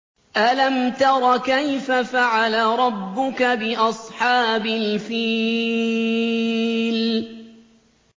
أَلَمْ تَرَ كَيْفَ فَعَلَ رَبُّكَ بِأَصْحَابِ الْفِيلِ